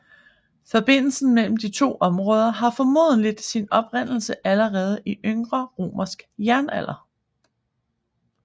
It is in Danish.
Forbindelsen mellem de to områder har formodentlig sin oprindelse allerede i yngre romersk jernalder